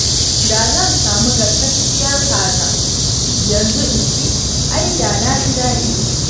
Da zan samu gasasshiyar kaza yanzu in ci ai da na ji dadi